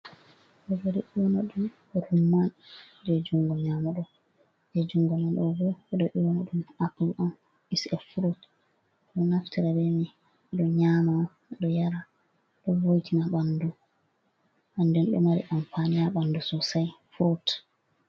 Ɗobori ƴewana ɗum "rumman" jey junngo nyaamo ɗoo, jey junngo nano ɗoo bo ɗo ƴewana ɗum "apul" on "is’e furut" ɗo naftira bee may ɗo nyaama ɗo yara ɗo vo'itina ɓanndu nden ɗo mari "ampaana" ha ɓanndu soosay furut.